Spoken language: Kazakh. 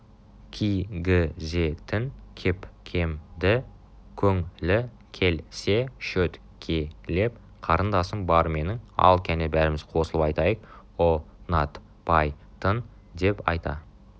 ки-гі-зе-тін кеп-кем-ді көң-лі кел-се шөт-ке-леп қарындасым бар менің ал кәне бәріміз қосылып айтайық ұ-нат-пай-тын деп айта